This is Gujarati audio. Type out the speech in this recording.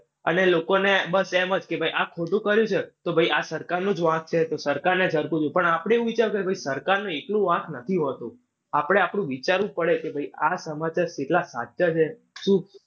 અને લોકોને બસ એમ જ કે ભાઈ આ ખોટું કરે છે તો ભાઈ આ સરકારનો જ વાંક છે. તો સરકારને . પણ આપણે એવું વિચારવું જોઈએ કે ભાઈ સરકારનું એકલું વાંક નથી હોતું. આપડે આટલું વિચારવું જ પડે કે ભાઈ આ સમાચાર કેટલા સાચા છે. શું